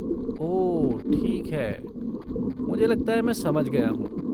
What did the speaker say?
ओह ठीक है, मुझे लगता है मैं समझ गया हूँ।